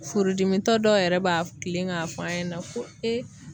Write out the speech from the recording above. Furudimitɔ dɔw yɛrɛ b'a kilen k'a fɔ an ɲɛna ko e